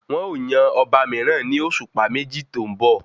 Wọn ò yan ọba mìíràn ní òṣùpá méjì tó ń bọ̀